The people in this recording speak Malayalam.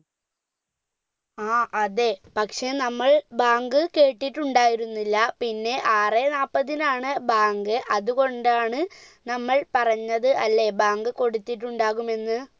ആ അതെ പക്ഷെ നമ്മൾ ബാങ്ക് കേട്ടിട്ടുണ്ടായിരുന്നില്ല പിന്നെ ആറ് നാല്പത്തിനാണ് ബാങ്ക് അതുകൊണ്ടാണ് നമ്മൾ പറഞ്ഞത് അല്ലെ ബാങ്ക് കൊടുത്തിട്ടുണ്ടാവുമെന്ന്